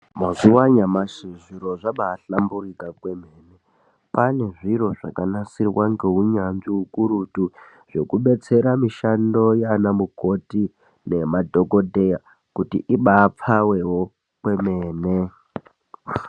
Mazuwa anyamashi zviro zvabaahlamburika kwemene. Pane zviro zvakanasirwa neunyanzvi ukurutu zvekubetsera mishando yaana mukoti nemadhokodheya kuti ibaapfawewo kwemene.